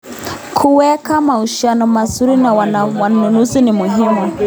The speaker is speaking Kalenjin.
Kuweka mahusiano mazuri na wanunuzi ni muhimu.